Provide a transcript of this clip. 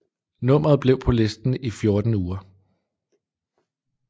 Nummeret blev på listen i 14 uger